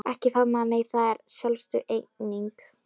Ekki faðmlag nei, það er sjálfsögð eining.